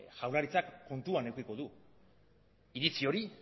jaurlaritzak kontuan edukiko du iritzi hori